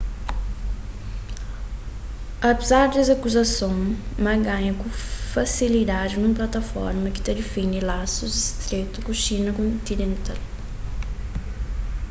apezar des akuzasons ma ganha ku fasilidadi nun plataforma ki ta defende lasus stretu ku xina kontinental